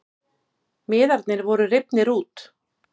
Miðarnir voru rifnir út